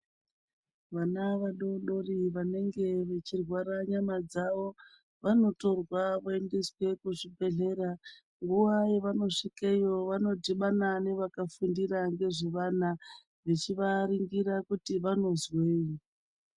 Vana vadodori vanenge vachirwara nyama dzawo vanotorwa kuendesa kuzvibhedhlera kune vanosvikawo vanodhibama vachivaimbira vanonzwni.